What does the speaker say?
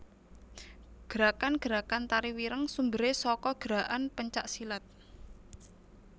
Gerakan gerakan Tari Wireng sumberé saka gerakan pencak silat